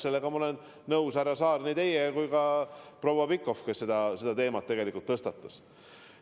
Selles ma olen, härra Saar, nõus nii teiega kui ka proua Pikhofiga, kes selle teema tegelikult tõstatas.